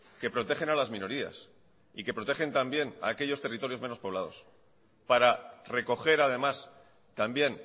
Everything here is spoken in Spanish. que protegen a las minorías y que protegen también a aquellos territorios menos poblados para recoger además también